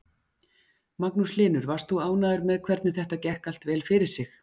Magnús Hlynur: Varst þú ánægður með hvernig þetta gekk allt vel fyrir sig?